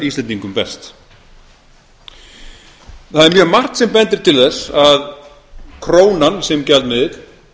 íslendingum best það er mjög margt sem bendir til þess að krónan sem gjaldmiðill